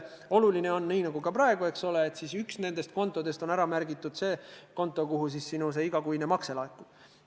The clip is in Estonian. Oluline on see – nagu ka praegu, eks ole –, et üks nendest kontodest, see konto, kuhu sinu igakuine makse laekub, oleks ära märgitud.